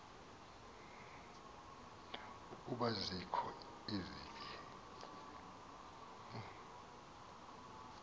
ukuba zikho izinggi